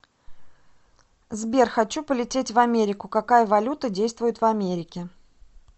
сбер хочу полететь в америку какая валюта действует в америке